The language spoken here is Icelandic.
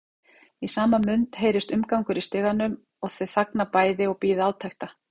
Í sama mund heyrist umgangur í stiganum og þau þagna bæði og bíða átekta.